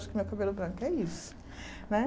Eu acho que meu cabelo branco é isso, né?